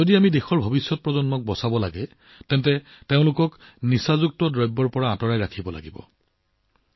যদি আমি দেশৰ ভৱিষ্যত প্ৰজন্মক বচাব বিচাৰো তেন্তে আমি তেওঁলোকক ড্ৰাগছৰ পৰা আঁতৰাই ৰাখিব লাগিব